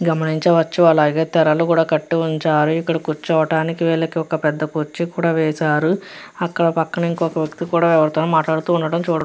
గమనించవచ్చు అలాగే తెరలు కట్టి ఉంచారు. కూర్చోటానికి వేళ్ళకి ఒక పెద్ద కుర్చీ కూడా వేశారు. అక్కడ పక్కన వ్యక్తి కూడా ఎవరితోనో మాట్లాడటం చూడ --